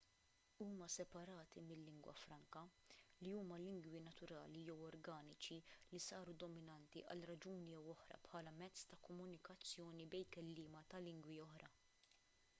huma separati mil-lingwa franka li huma lingwi naturali jew organiċi li saru dominanti għal raġuni jew oħra bħala mezz ta' komunikazzjoni bejn kelliema ta' lingwi oħra